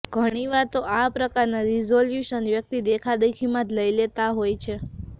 ઘણીવાર તો આ પ્રકારના રિઝોલ્યુશન વ્યક્તિ દેખાદેખીમાં જ લઈ લેતા હોય છે